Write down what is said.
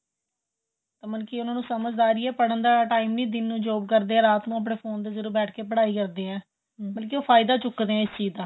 ਮਤਲਬ ਕਿ ਉਹਨਾ ਨੂੰ ਸਮਝਦਾਰੀ ਏ ਪੜਨ ਦਾ time ਨਹੀਂ ਦਿਨ ਨੂੰ job ਕਰਦੇ ਏ ਰਾਤ ਆਪਣੇਂ ਫੋਨ ਤੇ ਜਦੋਂ ਬੈਠ ਕੇ ਪੜਾਈ ਕਰਦੇ ਏ ਮਤਲਬ ਕਿ ਫਾਇਦਾ ਚੁੱਕਦੇ ਏ ਇਸ ਚੀਜ ਦਾ